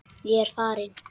Ég er farin.